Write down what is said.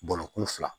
Bɔrɔkun fila